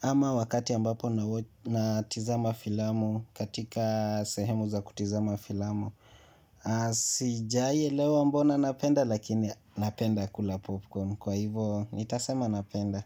ama wakati ambapo natizama filamu katika sehemu za kutizama filamu. Sijawahi elewa mbona napenda lakini napenda kula popcorn kwa hivyo nitasema napenda.